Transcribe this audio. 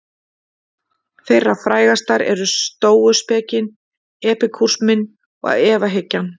Þeirra frægastar eru stóuspekin, epikúrisminn og efahyggjan.